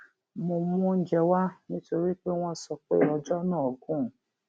mo mú oúnjẹ wá nítorí pé wón sọ pé ọjó náà gùn